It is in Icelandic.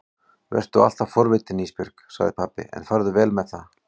Vertu alltaf forvitin Ísbjörg, sagði pabbi, en farðu vel með það.